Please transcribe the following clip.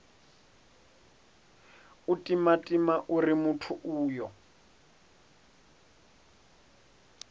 u timatima uri muthu uyo